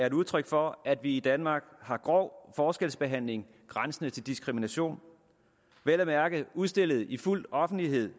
et udtryk for at vi i danmark har grov forskelsbehandling grænsende til diskrimination vel at mærke udstillet i fuld offentlighed